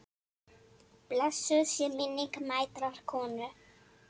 Blessuð sé minning mætrar konu.